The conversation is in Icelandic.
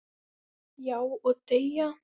Já, og deyja